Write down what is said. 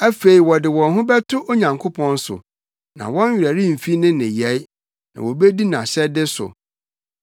Afei wɔde wɔn ho bɛto Onyankopɔn so, na wɔn werɛ remfi ne nneyɛe, na wobedi nʼahyɛde so.